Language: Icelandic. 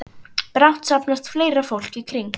Brátt safnast fleira fólk í kring.